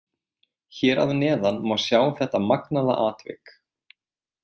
Hér að neðan má sjá þetta magnaða atvik.